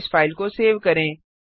अब इस फाइल को सेव करें